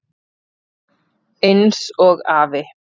Eins og afi.